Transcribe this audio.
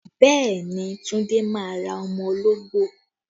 Bẹẹ ni, Tunde máa ra ọmọ ológbò